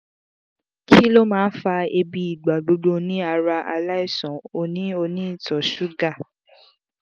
kí ló máa fa ebi igbagbo ni ara alaisan oni oni ito sugar